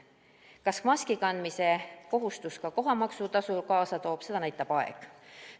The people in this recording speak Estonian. Seda, kas maski kandmise kohustus ka kohamaksutasu kaasa toob, näitab aeg.